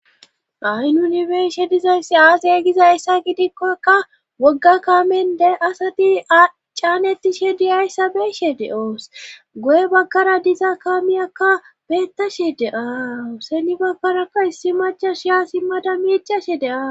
ahy nunibeshe dizayssi aazaya gizayssa gidikkokka wogga kaamende asati acaanetishe diyayssa beeshe de7oos goye bakkara diza kaamiyakka beettashe de7aawu seni bakkarakka issi machashiya si mada miicashe de7aa